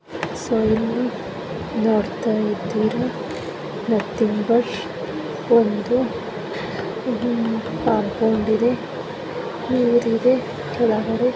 ನೀವು ಇಲ್ಲಿ ನೋಡ್ತಾ ಇದ್ದೀರಾ ನಥಿಂಗ್ ಬಟ್ ಒಂದು ಇದೊಂದು ಪಾಟ್ನಂತಿದೆ ನೀರಿದೆ.